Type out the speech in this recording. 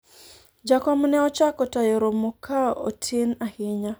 jakom ne ochako tayo romo ka otin ahinya